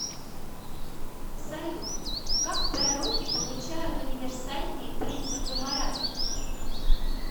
салют как пророки получают универсальные принципы морали